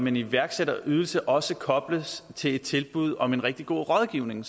en iværksætterydelse også kobles til et tilbud om en rigtig god rådgivning